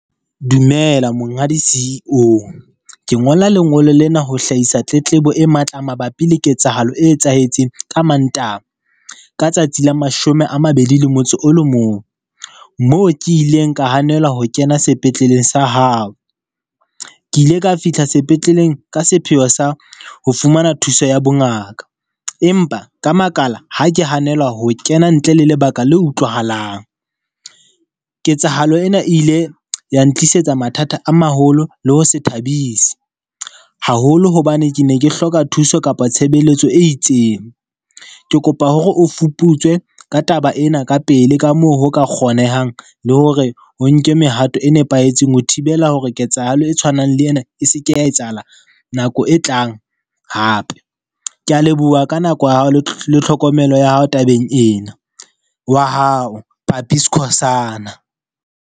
Dumela monghadi CEO. Ke ngola lengolo lena ho hlahisa tletlebo e matla mabapi le ketsahalo e etsahetseng ka Mantaha, ka tsatsi la mashome a mabedi le motso o le mong. Moo ke ileng ka hanelwa ho kena sepetleleng sa hao. Ke ile ka fihla sepetleleng ka sepheo sa ho fumana thuso ya bongaka. Empa ka makala ha ke hanelwa ho kena ntle le lebaka le utlwahalang. Ketsahalo ena e ile ya ntlisetsa mathata a maholo le ho se thabise, haholo hobane ke ne ke hloka thuso kapa tshebeletso e itseng. Ke kopa hore o fuputswe ka taba ena ka pele ka moo ho ka kgonehang, le hore o nke mehato e nepahetseng ho thibela hore ketsahalo e tshwanang le yena e seke ya etsahala nako e tlang hape. Ke a leboha ka nako ya hao le tlhokomelo ya hao tabeng ena, wa hao, Papi Skhosana.